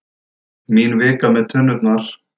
Mín vika með tunnurnar.